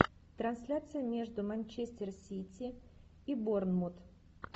трансляция между манчестер сити и борнмут